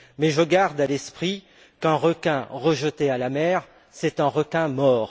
Mais je garde à l'esprit qu'un requin rejeté à la mer est un requin mort.